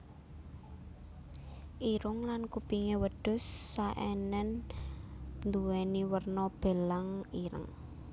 Irung lan kupingé wedhus Saenen nduwéni werna belang ireng